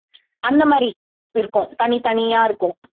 அந்த மாதிரி இருக்கும் தனித்தனியா இருக்கும்